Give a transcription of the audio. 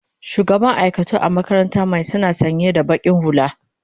shugaban aikatau a makarantaran my suna sanya da baki hulla